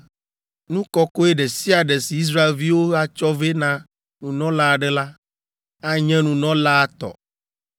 Nu kɔkɔe ɖe sia ɖe si Israelviwo atsɔ vɛ na nunɔla aɖe la, anye nunɔlaa tɔ.